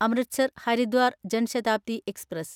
Amritsar Haridwar Jan Shatabdi express